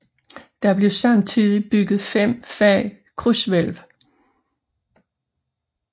Der blev samtidigt bygget fem fag krydshvælv